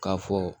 K'a fɔ